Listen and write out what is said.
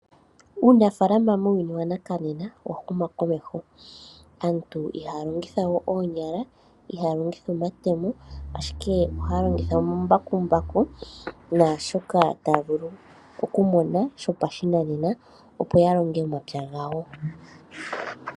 Uunafaalama muuyuni wanakanena owa huma komeho. Aantu ihaya longitha we oonyala, ihaya longitha omatemo, ashike ohaya longitha omambakumbaku naashoka taya vulu okumona shopashinanena, opo ya longe omapya gawo.